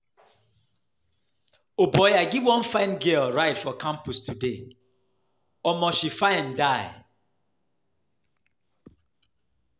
O boy, I give wan fine girl ride today for campus today, omo she fine die.